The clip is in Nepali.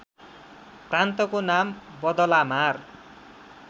प्रान्तको नाम बदलामार